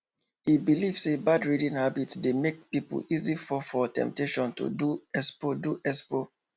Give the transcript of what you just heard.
e believe say bad reading habit dey make people easily fall for the temptation to do expo do expo